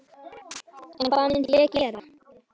En hvað myndi ég gera?